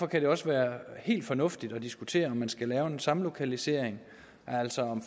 kan det også være helt fornuftigt at diskutere om man skal lave en samlokalisering altså